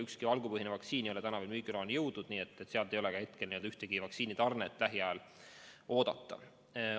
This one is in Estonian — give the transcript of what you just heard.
Ükski valgupõhine vaktsiin ei ole veel müügiloani jõudnud, nii et sealt ei ole ka ühtegi vaktsiinitarnet lähiajal oodata.